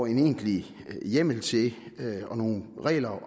en egentlig hjemmel til og nogle regler